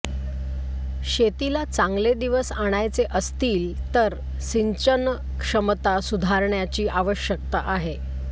शेतीला चांगले दिवस आणायचे असतील तर सिंचनक्षमता सुधारण्याची आवश्यकता आहे